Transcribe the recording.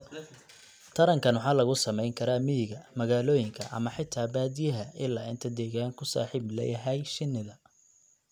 Tarankan waxa lagu samayn karaa miyiga, magaalooyinka, ama xataa baadiyaha, ilaa inta deegaanku saaxiib la yahay shinida.